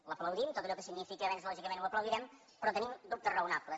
l’aplaudim tot allò que significa avenç lògicament ho aplaudirem però tenim dubtes raonables